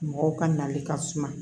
Mɔgɔw ka nali ka suma